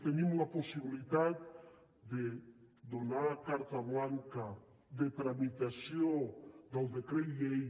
tenim la possibilitat de donar carta blanca de tramitació del decret llei